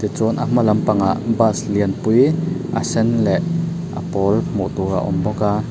chuan a hma lampangah bus lian pui a sen leh a pawl hmuh tur a awm bawk a.